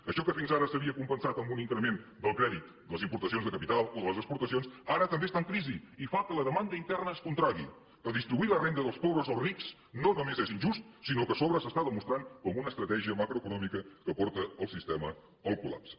això que fins ara s’havia compensat amb un increment del crèdit de les importacions de capital o de les exportacions ara també està en crisi i fa que la demanda interna es contragui redistribuir la renda dels pobres als rics no només és injust sinó que a sobre s’està demostrant com una estratègia macroeconòmica que porta el sistema al collapse